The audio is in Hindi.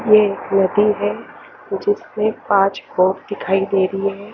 ये एक हे जिसमे आज खोफ दिखाई दे रही हैं।